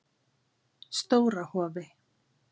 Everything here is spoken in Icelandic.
Stóra Hofi